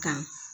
Kan